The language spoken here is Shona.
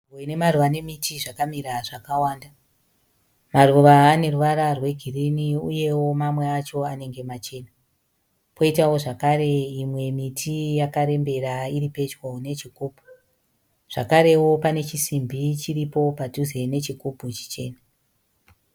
Nzvimbo ine maruva nemiti zvakamira zvakawanda. Maruva ane ruvara rwegirini uyewo mamwe acho anenge machena, kwoitawo zvakare imwe miti yakarembera iri pedyo nechigubhu. Zvakarewo pane chisimbi chiripo padhuze nechigubhu chichena.